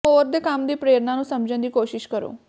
ਹੋਰ ਦੇ ਕੰਮ ਦੀ ਪ੍ਰੇਰਣਾ ਨੂੰ ਸਮਝਣ ਦੀ ਕੋਸ਼ਿਸ਼ ਕਰੋ